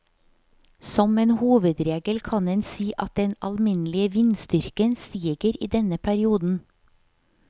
Som en hovedregel kan en si at den alminnelige vindstyrken stiger i denne perioden.